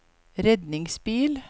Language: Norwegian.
redningsbil